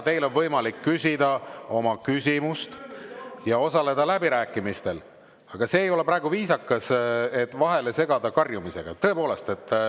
Teil on võimalik küsida oma küsimus ja osaleda läbirääkimistel, aga see ei ole viisakas, et te praegu segate vahele karjumisega.